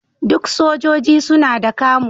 Duk sojoji suna da camo.